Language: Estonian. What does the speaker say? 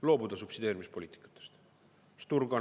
Loobuda subsideerimispoliitikast!